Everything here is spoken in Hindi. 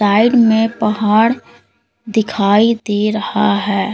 साइड में पहाड़ दिखाई दे रहा है।